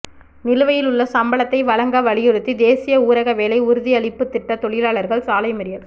நிலுவையில் உள்ள சம்பளத்தை வழங்க வலியுறுத்தி தேசிய ஊரக வேலை உறுதியளிப்பு திட்ட தொழிலாளர்கள் சாலை மறியல்